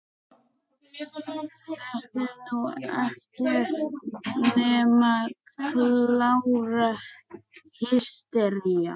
Þetta er nú ekkert nema klára hystería!